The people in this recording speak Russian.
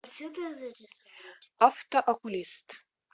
автоокулист